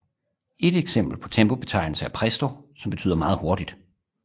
Et eksempel på en tempobetegnelse er Presto som betyder meget hurtigt